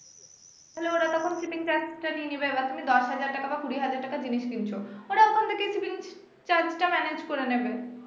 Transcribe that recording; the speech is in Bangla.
তাহলে ওরা তখন shipping charge টা নিয়ে নিবে বা দশ হাজার টাকা বা কুড়ি হাজার টাকার জিনিস কিনছো ওরা ওখান থেকেই shipping charge টা manage করে নিবে